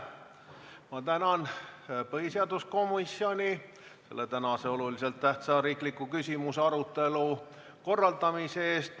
Ma tänan põhiseaduskomisjoni tänase olulise tähtsusega riikliku küsimuse arutelu korraldamise eest!